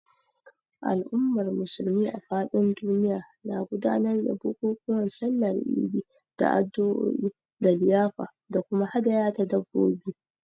Al’ummar Musulmi a fadin duniya na gudanar da bukukuwan Sallar Idi da addu’o’i da liyafa da kuma hadaya ta dabbobi.